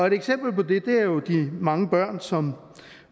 eksempel på det er jo de mange børn som